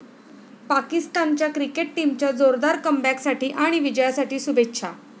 पाकिस्तानच्या क्रिकेट टीमच्या जोरदार कमबॅकसाठी आणि विजयासाठी शुभेच्छा.